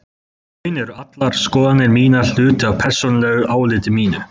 Í raun eru allar skoðanir mínar hluti af persónulegu áliti mínu.